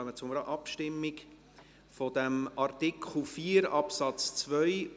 Wir kommen zur Abstimmung betreffend Artikel 4 Absatz 2